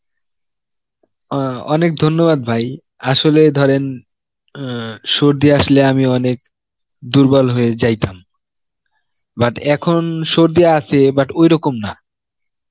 আ অনেক ধন্যবাদ ভাই, আসলে ধরেন অ্যাঁ সর্দি আসলে আমি অনেক দুর্বল হয়ে যাইতাম, but এখন সর্দি আসে but ঐরকম না.